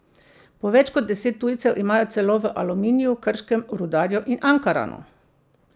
Po več kot deset tujcev imajo celo v Aluminiju, Krškem, Rudarju in Ankaranu.